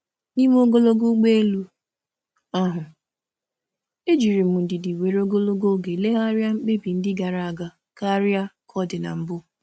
N’oge ogologo ụgbọ elu, m tụlere mkpebi gara aga n’ụzọ nwere ndidi karịa mbụ.